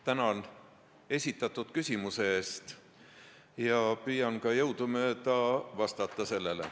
Tänan esitatud küsimuse eest, püüan jõudumööda ka vastata.